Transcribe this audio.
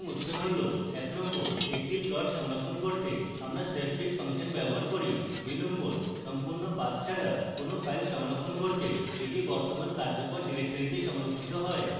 এবং উত্তর